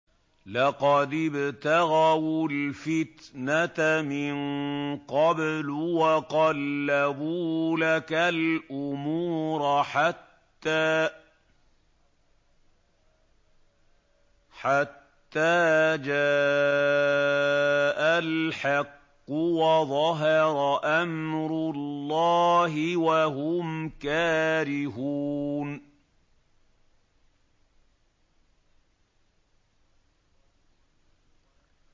لَقَدِ ابْتَغَوُا الْفِتْنَةَ مِن قَبْلُ وَقَلَّبُوا لَكَ الْأُمُورَ حَتَّىٰ جَاءَ الْحَقُّ وَظَهَرَ أَمْرُ اللَّهِ وَهُمْ كَارِهُونَ